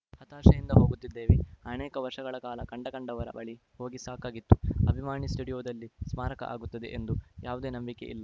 ಹತಾಶೆಯಿಂದ ಹೋಗುತ್ತಿದ್ದೇವೆ ಅನೇಕ ವರ್ಷಗಳ ಕಾಲ ಕಂಡಕಂಡವರ ಬಳಿ ಹೋಗಿ ಸಾಕಾಗಿತ್ತು ಅಭಿಮಾನಿ ಸ್ಟುಡಿಯೋದಲ್ಲಿ ಸ್ಮಾರಕ ಆಗುತ್ತದೆ ಎಂಬ ಯಾವುದೇ ನಂಬಿಕೆ ಇಲ್ಲ